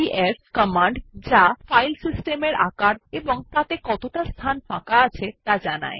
DF command যা file সিস্টেমের size ও তাতে কতটা ফাঁকা আছে ত়া জানায়